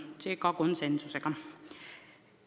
Kõik otsused võeti vastu konsensusega.